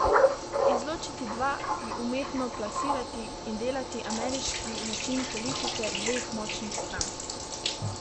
Izločiti dva, ju umetno plasirati in delati ameriški način politike dveh močnih strank.